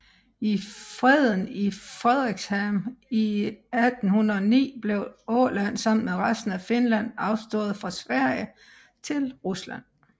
I Freden i Fredrikshamn i 1809 blev Åland sammen med resten af Finland afstået fra Sverige til Rusland